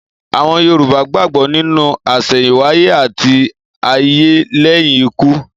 Àwon Yorùbá gbàgbó nínú àsèyìnwáyé àti ayé léyìn ikú